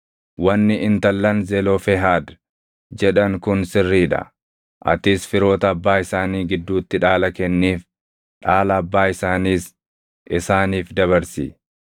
“Wanni intallan Zelofehaad jedhan kun sirrii dha. Atis firoota abbaa isaanii gidduutti dhaala kenniif; dhaala abbaa isaaniis isaaniif dabarsi.